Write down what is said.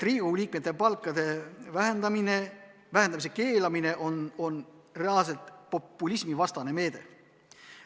Riigikogu liikmete palkade vähendamise keelamine on reaalselt populismivastane meede.